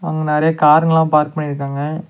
அங்க நறைய காருங்கல்லா பார்க் பண்ணிருக்காங்க.